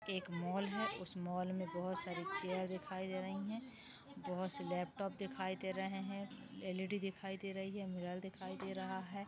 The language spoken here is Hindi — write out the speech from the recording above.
एक मॉल है उस मॉल में बहुत सारी चैर दिखाई दे रही है बहुत से लैपटॉप दिखाई दे रहे है एल_ई_डी दिखाई दे रही है मिरर दिखाई दे रहा है।